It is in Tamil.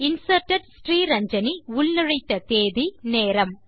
இன்சர்ட்டட் Sriranjani உள்நுழைத்த தேதி நேரம்